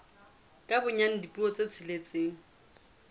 ka bonyane dipuo tse tsheletseng